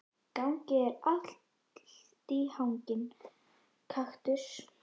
Gangi þér allt í haginn, Kaktus.